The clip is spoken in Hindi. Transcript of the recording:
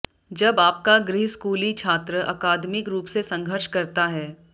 जब आपका गृहस्कूली छात्र अकादमिक रूप से संघर्ष करता है